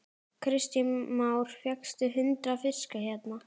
Kristján Már: Fékkstu hundrað fiska hérna?